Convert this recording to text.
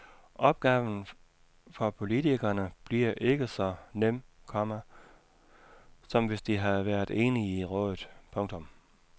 Opgaven for politikerne bliver ikke så nem, komma som hvis de havde været enige i rådet. punktum